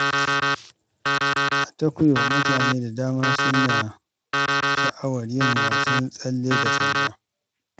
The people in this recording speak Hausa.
A Tokyo, mutane da dama suna sha’awar yin wasan tsalle da sanda.